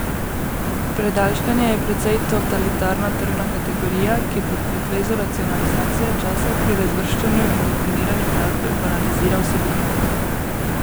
Predalčkanje je precej totalitarna tržna kategorija, ki pod pretvezo racionalizacije časa pri razvrščanju in definiranju glasbe banalizira vsebino.